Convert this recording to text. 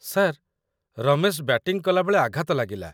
sir, Ramesh batting କଲାବେଳେ ଆଘାତ ଲାଗିଲା